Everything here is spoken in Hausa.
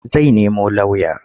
Zai nemo lauya.